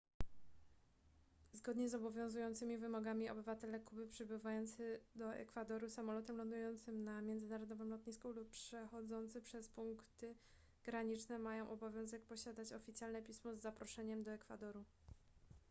zgodnie z obowiązującymi wymogami obywatele kuby przybywający do ekwadoru samolotem lądującym na międzynarodowym lotnisku lub przechodzący przez punkty graniczne mają obowiązek posiadać oficjalne pismo z zaproszeniem do ekwadoru